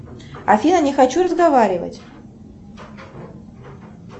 афина не хочу разговаривать